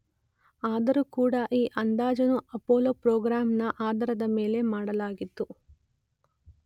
ಆದರೂ ಕೂಡ ಈ ಅಂದಾಜನ್ನು ಅಪೋಲೋ ಪ್ರೋಗ್ರಾಂ ನ ಆಧಾರದ ಮೇಲೆ ಮಾಡಲಾಗಿದ್ದು